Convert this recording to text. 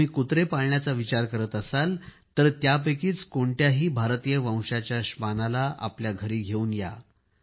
जर तुम्ही कुत्रे पाळण्याचा विचार करणार असालतर यापैकीच कोणत्याही भारतीय वंशाच्या श्वानाला आपल्या घरी घेवून या